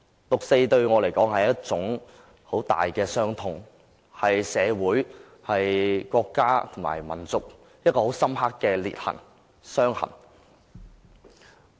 六四對我來說，是一種很大的傷痛，是在社會、國家和民族中一道很深刻的裂痕和傷痕。